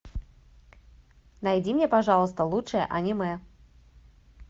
найди мне пожалуйста лучшее аниме